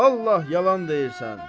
Vallah yalan deyirsən.